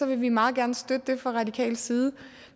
vi meget gerne støtte det fra radikal side